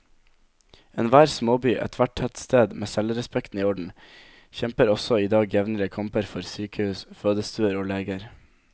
Enhver småby, ethvert tettsted med selvrespekten i orden, kjemper også i dag jevnlige kamper for sykehus, fødestuer og leger.